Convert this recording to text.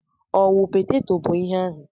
Ọ wụ peteto bụ ihe ahụ?